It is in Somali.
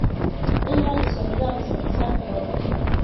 In la dhiso nidaam isla xisaabtan waa muhiim.